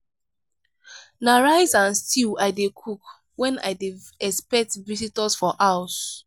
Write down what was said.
na rice and stew i dey cook when i dey expect visitors for house.